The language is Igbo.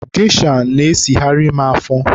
Gesha na-esigharị m afọ.